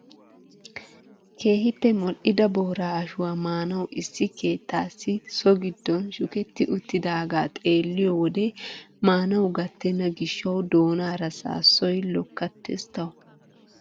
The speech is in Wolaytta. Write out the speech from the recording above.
Keehippe mol"ida booraa ashshuwaa maanawu issi keettasi so giddon shuketti uttidagaa xeelliyoo wode maanawu gattena gishshawu doonaara saassoy lokkattees tawu!